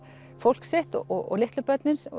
fólk sitt og litlu börnin